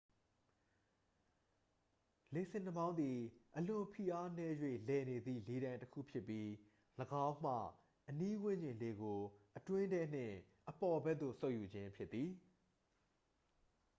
"""လေဆင်နှာမောင်းသည် အလွန်ဖိအားနည်း၍ လည်နေသည့် လေတိုင်တစ်ခု ဖြစ်ပြီး ၎င်းမှ အနီးဝန်းကျင် လေကို အတွင်းထဲနှင့် အပေါ်ဘက်သို့ စုပ်ယူခြင်းဖြစ်သည်။""